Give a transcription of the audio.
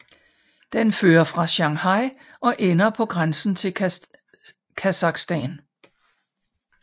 Den fører fra Shanghai og ender på grænsen til Kasakhstan